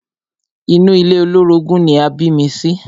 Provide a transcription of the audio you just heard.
Inú ilé olórogún ni a bí mi sí.